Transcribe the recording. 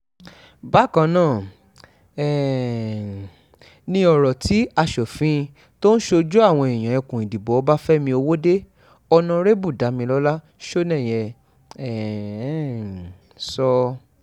bákan náà um ni ọ̀rọ̀ tí asòfin tó ń ṣojú àwọn èèyàn ẹkùn ìdìbò ọbáfẹ́mi ọwọ́de onárẹ́bù damilọlá sọnẹ́yẹ um sọ